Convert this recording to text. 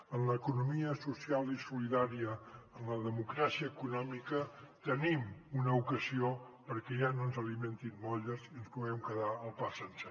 en l’economia social i solidària en la democràcia econòmica tenim una ocasió perquè ja no ens alimentin molles i ens puguem quedar el pa sencer